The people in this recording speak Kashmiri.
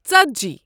ژتجی